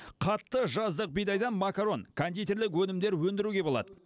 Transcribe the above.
қатты жаздық бидайдан макарон кондитерлік өнімдер өндіруге болады